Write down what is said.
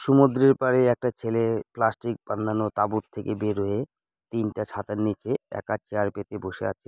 সমুদ্রের পাড়ে একটা ছেলে প্লাস্টিক বাঁন্ধানো তাঁবুর থেকে বের হয়ে। তিনটা ছাতার নিচে একা চেয়ার পেতে বসে আছে।